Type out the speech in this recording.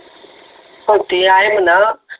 होते आहे म्हणा